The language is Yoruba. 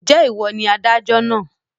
Ǹjẹ́ ìwọ ni adájọ́ náà?